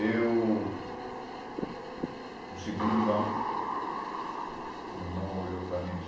Eu... no segundo banco, o irmão olhou para mim e disse,